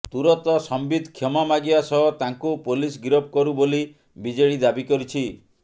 ତୁରନ୍ତ ସମ୍ବିତ କ୍ଷମା ମାଗିବା ସହ ତାଙ୍କୁ ପୋଲିସ ଗିରଫ କରୂ ବୋଲୀ ବିଜେଡି ଦାବି କରିଛି